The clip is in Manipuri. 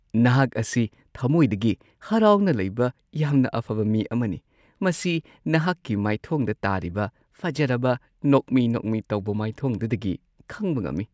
ꯅꯍꯥꯛ ꯑꯁꯤ ꯊꯃꯣꯏꯗꯒꯤ ꯍꯔꯥꯎꯅ ꯂꯩꯕ ꯌꯥꯝꯅ ꯑꯐꯕ ꯃꯤ ꯑꯃꯅꯤ ꯫ꯃꯁꯤ ꯅꯍꯥꯛꯀꯤ ꯃꯥꯏꯊꯣꯡꯗ ꯇꯥꯔꯤꯕ ꯐꯖꯔꯕ ꯅꯣꯛꯃꯤ-ꯅꯣꯛꯃꯤ ꯇꯧꯕ ꯃꯥꯢꯊꯣꯡꯗꯨꯗꯒꯤ ꯈꯪꯕ ꯉꯝꯃꯤ ꯫